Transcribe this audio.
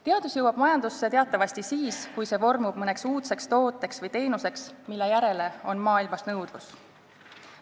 Teadus jõuab majandusse teatavasti siis, kui see vormub mõneks uudseks tooteks või teenuseks, mille järele on maailmas nõudlus.